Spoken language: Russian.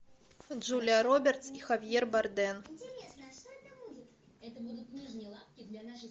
джулия робертс и хавьер бардем